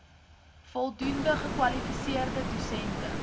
voldoende gekwalifiseerde dosente